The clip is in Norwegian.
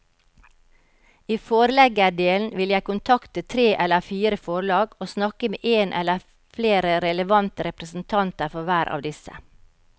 I forleggerdelen vil jeg kontakte tre eller fire forlag og snakke med en eller flere relevante representanter for hver av disse.